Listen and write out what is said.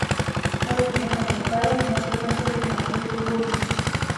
ore teneironyi irpaek neopuku entoki naijio keibunga.